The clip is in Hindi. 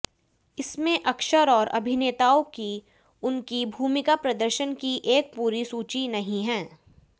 इसमें अक्षर और अभिनेताओं की उनकी भूमिका प्रदर्शन की एक पूरी सूची नहीं है